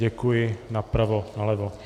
Děkuji napravo, nalevo.